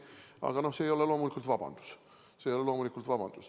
Aga see ei ole loomulikult vabandus.